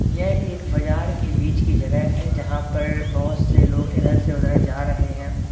यह एक बाजार के बीच की जगह है जहां पर बहुत से लोग इधर से उधर जा रहे हैं।